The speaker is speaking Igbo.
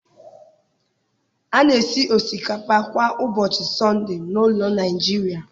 A na-esi osikapa kwa ụbọchị Sọnde n'ụlọ Nigeria